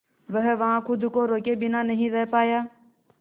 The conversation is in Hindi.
वह वहां खुद को रोके बिना नहीं रह पाया